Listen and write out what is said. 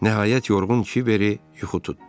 Nəhayət, yorğun Kiberi yuxu tutdu.